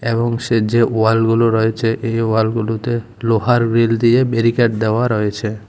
এবং সেজ্জে ওয়ালগুলো রয়েছে এই ওয়ালগুলোতে লোহার রিল দিয়ে বেরিকেড দেওয়া রয়েছে।